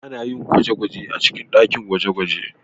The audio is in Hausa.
Ana yin gwaje-gwajen a cikin ɗakin gwaje-gwaje.